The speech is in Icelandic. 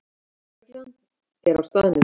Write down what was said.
Lögreglan er á staðnum